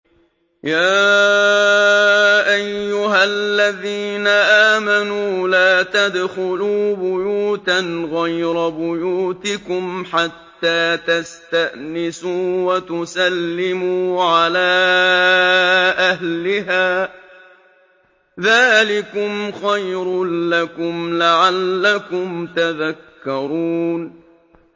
يَا أَيُّهَا الَّذِينَ آمَنُوا لَا تَدْخُلُوا بُيُوتًا غَيْرَ بُيُوتِكُمْ حَتَّىٰ تَسْتَأْنِسُوا وَتُسَلِّمُوا عَلَىٰ أَهْلِهَا ۚ ذَٰلِكُمْ خَيْرٌ لَّكُمْ لَعَلَّكُمْ تَذَكَّرُونَ